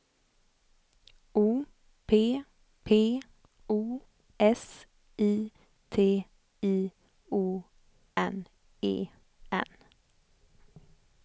O P P O S I T I O N E N